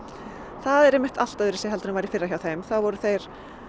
það er einmitt allt öðruvísi en var í fyrra hjá þeim þá voru þeir